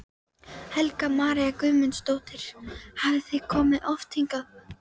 Helga María Guðmundsdóttir: Hafið þið komið oft hingað?